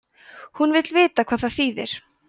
hún vill vita hvað það þýðir